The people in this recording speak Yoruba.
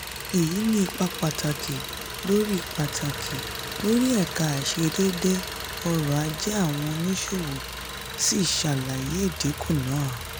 èyí ní ipa pàtàkì lórí pàtàkì lórí ẹ̀ka àìṣedédé ọ̀rọ̀-ajé àwọn oníṣòwò sì ṣàlàyé ìdínkù títà.